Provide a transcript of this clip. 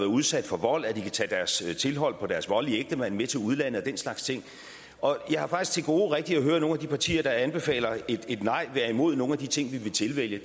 udsat for vold kan tage deres tilhold på deres voldelige ægtemand med til udlandet og den slags ting jeg har faktisk til gode rigtig at høre nogle af de partier der anbefaler et nej være imod nogle af de ting vi vil tilvælge